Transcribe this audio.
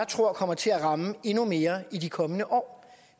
tror kommer til at ramme endnu mere i de kommende år